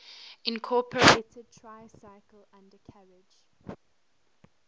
incorporated tricycle undercarriage